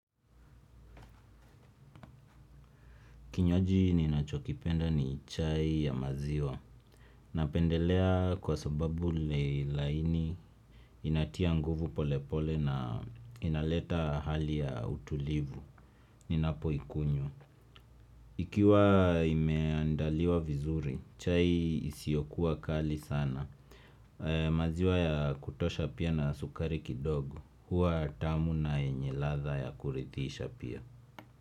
Kinywaji ninachokipenda ni chai ya maziwa. Napendelea kwa sababu ni laini, inatia nguvu polepole na inaleta hali ya utulivu. Ninapo ikunywa, ikiwa imeandaliwa vizuri, chai isiokuwa kali sana. Maziwa ya kutosha pia na sukari kidogo. Huwa tamu na yenye ladha ya kuridhisha pia.